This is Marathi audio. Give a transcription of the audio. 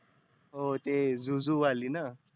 हो ते zoo zoo वाली ना.